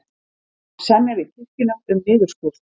Semja við kirkjuna um niðurskurð